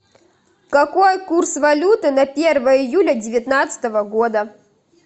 какой курс валюты на первое июля девятнадцатого года